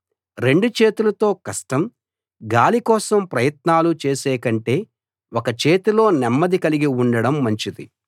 రెండు చేతులతో కష్టం గాలి కోసం ప్రయత్నాలు చేసేకంటే ఒక చేతిలో నెమ్మది కలిగి ఉండడం మంచిది